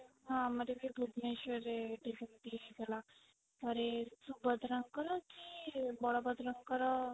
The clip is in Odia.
ହଁ ଆମର ବି ଭୁବନେଶ୍ୱର ରେ ଏଠି ସେମିତି ହେଇଥିଲା ଥରେ ସୁଭଦ୍ରା ଙ୍କର କି ବଳଭଦ୍ରଙ୍କର